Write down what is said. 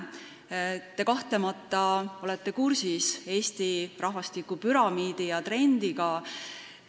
Te olete kahtlemata kursis Eesti rahvastikupüramiidi ja -trendiga.